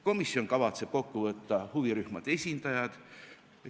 Komisjon kavatseb kokku võtta huvirühmade esindajad.